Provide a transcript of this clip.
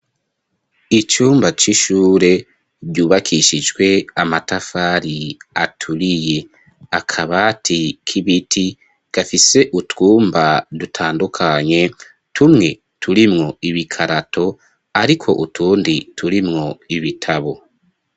Icumba c'ishure ryubakishijwe amatafari aturiye akabati k'ibiti gafise utwumba dutandukanye tumwe turimwo ibikarato ariko utundi turimwo ibitabo.